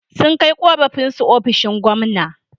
Sun kai ƙorafinsu ofishin gwamna.